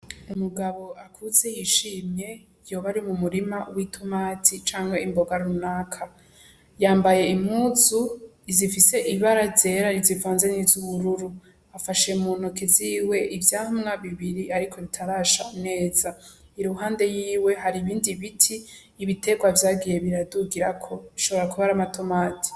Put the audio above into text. Umugabo akuze yishime yoba ari mu murima w'itumatsi canke imboga runaka yambaye imuzu izifise ibara zera rizivonzen'izo ubururu afashe munoke ziwe ivyamwa bibiri, ariko ritarasha umeza i ruhande yiwe hari ibindi biti y'ibiterwa vyagiyee biradugirako nshobora kuba ari amatomati.